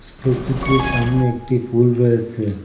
স্ট্যাচুটির সামনে একটি ফুল রয়েসে।